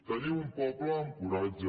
tenim un poble amb coratge